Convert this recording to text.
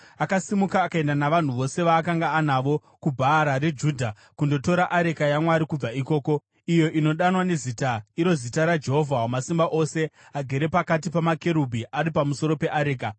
Akasimuka akaenda navanhu vose vaakanga anavo kuBhaara reJudha, kundotora areka yaMwari kubva ikoko, iyo inodanwa neZita, iro zita raJehovha Wamasimba Ose, agere pakati pamakerubhi ari pamusoro peareka.